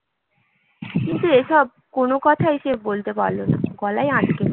কিন্তু এসব কোনো কথাই সে বলতে পারল না, গলায় আটকে